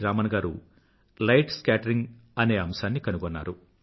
రామన్ గారు light scattering అనే అంశం కనుగొన్నారు